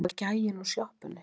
Það var gæinn úr sjoppunni.